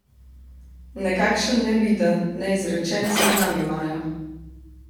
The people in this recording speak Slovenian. Nekakšen neviden, neizrečen seznam imajo.